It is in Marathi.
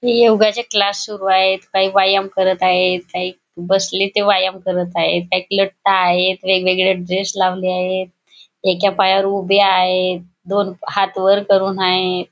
हे योगाचे क्लास सुरू आहेत काही व्यायाम करत आहेत काही बसले ते व्यायाम करत आहेत काही लठ्ठ आहेत वेगवेगळे ड्रेस लावले आहेत एका पायावर उभे आहेत दोन हात वर करून आहेत.